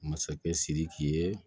Masakɛ sidiki ye